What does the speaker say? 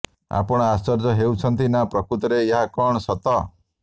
ଆପଣ ଆଶ୍ଚର୍ଯ୍ୟ ହେଉଛନ୍ତି ନା ପ୍ରକୃତରେ ଏହା କଣ ସତ